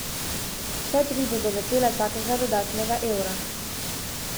Vse tri bodo vesele vsakega dodatnega evra.